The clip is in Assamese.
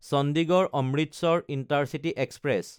Chandigarh-Amritsar intercity express